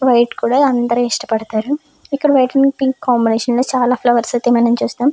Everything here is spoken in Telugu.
వైట్ కూడా అందరూ ఇష్టపడతారు. ఇక్కడ వైట్ అండ్ పింకు కాంబినేషన్లో చాలా ఫ్లవర్స్ అయితే మనం చూస్తున్నాం.